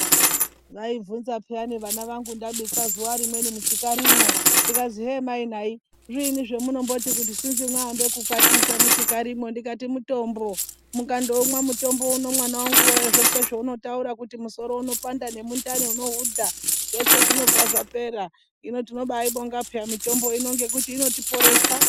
Vaibvunza piyani vana vangu ndabika zuva rimweni muchikarimwo, zvikazwi hee mai nai zviini zvamunomboti kuti sinzi maambe kukwatisa muchikarimwo ndikati mutombo, mukandoumwa mutombo uno mwananguwe zveshe zvaunotaura kuti musoro unopanda nemundani unohudha zveshe zvinobva zvapera ,hino tinobaibonga peya mitombo ngekuti inotipoesa.